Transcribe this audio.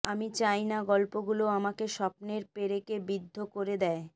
আমি চাই না গল্পগুলো আমাকে স্বপ্নের পেরেকে বিদ্ধ করে দেয়